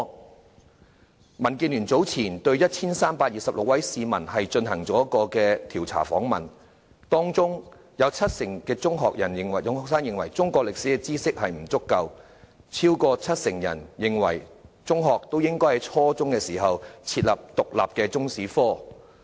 民主建港協進聯盟早前對 1,326 名市民進行調查，當中七成中學生認為他們對中國歷史知識不足夠，超過七成人認為應該在初中設立獨立的中史科。